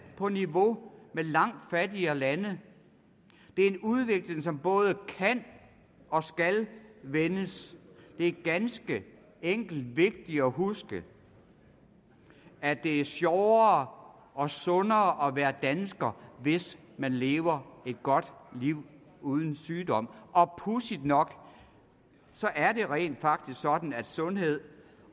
på niveau med langt fattigere lande det er en udvikling som både kan og skal vendes det er ganske enkelt vigtigt at huske at det er sjovere og sundere at være dansker hvis man lever et godt liv uden sygdom og pudsigt nok er det rent faktisk sådan at sundhed